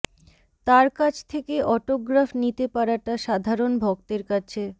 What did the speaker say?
তার কাছ থেকে অটোগ্রাফ নিতে পারাটা সাধারণ ভক্তের কাছে